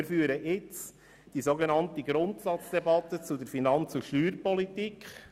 Wir führen jetzt die sogenannte Grundsatzdebatte zur Finanz- und Steuerpolitik.